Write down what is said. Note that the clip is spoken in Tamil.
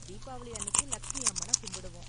தீபாவளி அன்னிக்கு லக்ஷ்மி அம்மனை கும்பிடுவோம்.